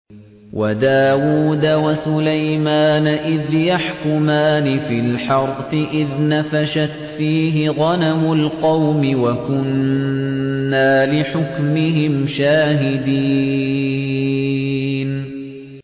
وَدَاوُودَ وَسُلَيْمَانَ إِذْ يَحْكُمَانِ فِي الْحَرْثِ إِذْ نَفَشَتْ فِيهِ غَنَمُ الْقَوْمِ وَكُنَّا لِحُكْمِهِمْ شَاهِدِينَ